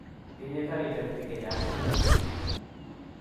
Tinye karisyek pik chechang' eng' yu